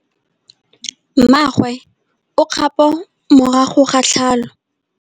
Mmagwe o kgapô morago ga tlhalô.